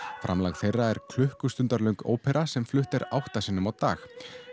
framlag þeirra var klukkustundar löng ópera sem flutt er átta sinnum á dag